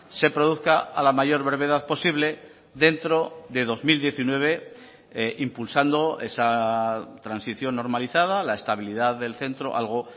se produzca a la mayor brevedad posible dentro de dos mil diecinueve impulsando esa transición normalizada la estabilidad del centro algo